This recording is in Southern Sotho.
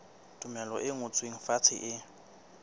tumello e ngotsweng fatshe e